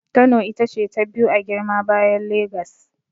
Kano ita ce ta biyu a girma bayan Legas.